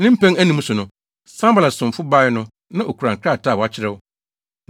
Ne mpɛn anum so no, Sanbalat somfo bae no na okura krataa a wɔakyerɛw.